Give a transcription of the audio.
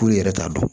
K'u yɛrɛ t'a dɔn